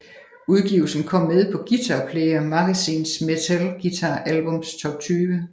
Udgivelsen kom med på Guitar Player Magazines Metal Guitar albums Top 20